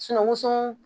woso